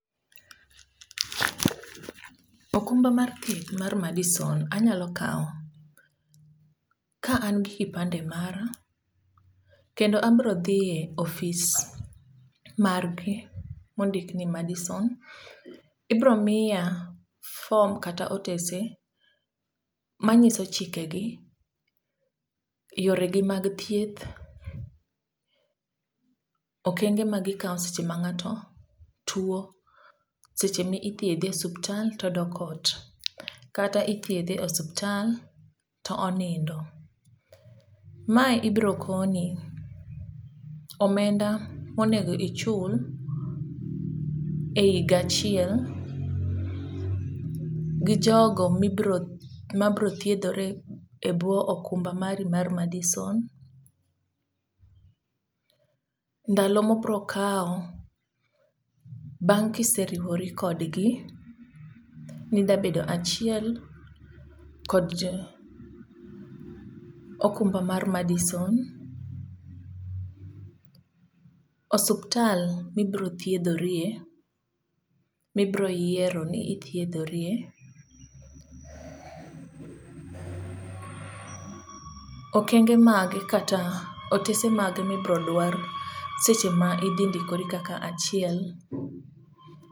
okumba mar thieth mar Madison anyalo kawo ka an gi kipande mara, kendo abiro dhi e ofis margi mondik ni Madison, ibiro miya form kata otese manyiso chikegi, yoregi mag thieth, okenge magikawo seche mang'ato tuwo, seche mithiedhe osuptal tp odok ot, kata ithiedhe osuptal to onindo. Mae ibiro koni, omenda monego ichul,e higa achiel, gi jogo mabiro thiedhore e bwo okumba mari mar Madison, ndalo mobro kawo bang' kiseriwori kodgi, midabedo achiel kod okumba mar Madison, osuptal mibeo thiedhorie, mibro yiero ni ithiedhorie. Okenge mage kata otese mage mibiro dwar seche ma idhi ndikori kaka achiel.